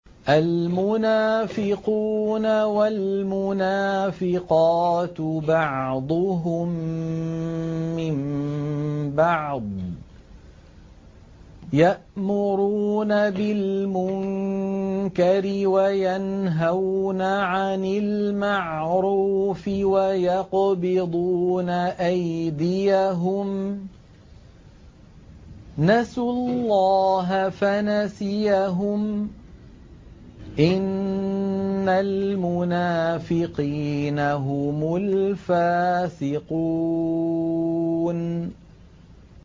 الْمُنَافِقُونَ وَالْمُنَافِقَاتُ بَعْضُهُم مِّن بَعْضٍ ۚ يَأْمُرُونَ بِالْمُنكَرِ وَيَنْهَوْنَ عَنِ الْمَعْرُوفِ وَيَقْبِضُونَ أَيْدِيَهُمْ ۚ نَسُوا اللَّهَ فَنَسِيَهُمْ ۗ إِنَّ الْمُنَافِقِينَ هُمُ الْفَاسِقُونَ